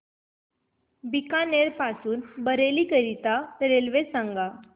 बीकानेर पासून बरेली करीता रेल्वे सांगा